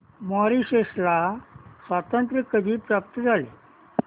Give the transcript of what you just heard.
Mauritius ला स्वातंत्र्य कधी प्राप्त झाले